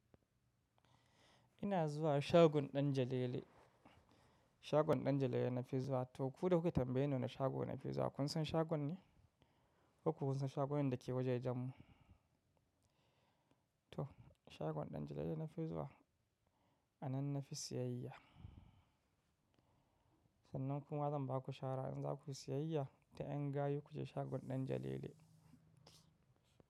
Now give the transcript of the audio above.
Ina zuwa shagon Ɗan jalele. Shagon Ɗanjalele nafi zuwa toh ku da kuke tambaye ni na shago nafi zuwa. Kun san shagon ne? Koko Baku san shagunan da ke waja jan mu? Toh shagon Ɗanjalele nafi zuwa a nan nafi siyayya. Sannan kuma zan ba ku shawara in za ku siyayya ta yan gayu ku je shagon Ɗanjalele.